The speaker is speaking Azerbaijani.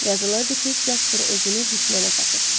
Yazılırdı ki, Casper özünü düşmənə satıb.